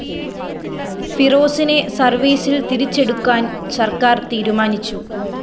ഫിറോസിനെ സര്‍വീസില്‍ തിരിച്ചെടുക്കാന്‍ സര്‍ക്കാര്‍ തീരുമാനിച്ചു